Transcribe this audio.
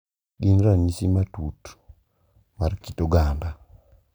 Gin ranyisi matut mar kit oganda,